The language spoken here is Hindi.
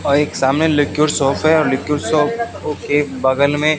और एक सामने लिक्विड सोप है और लिक्विड सोप के बगल में--